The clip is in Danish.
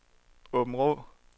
Aabenraa